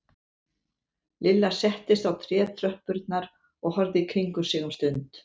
Lilla settist á trétröppurnar og horfði í kringum sig um stund.